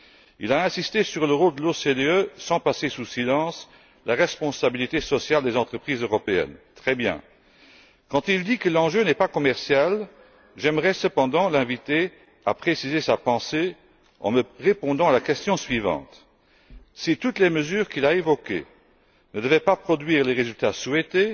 Il a insisté sur le rôle de l'OCDE, sans passer sous silence la responsabilité sociale des entreprises européennes. Très bien! Quand il dit que l'enjeu n'est pas commercial, j'aimerais cependant l'inviter à préciser sa pensée en répondant à la question suivante si toutes les mesures qu'il a évoquées ne devaient pas produire les résultats souhaités,